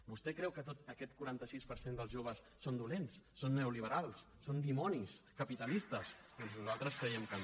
vostè creu que tot aquest quaranta sis per cent dels joves són dolents són neoliberals són dimonis capitalistes doncs nosaltres creiem que no